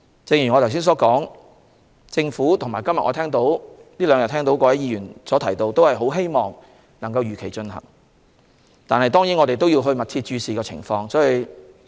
正如我剛才所說，我們這兩天聽到各位議員的意見，他們都很希望選舉可以如期進行，但我們也要密切注視情況。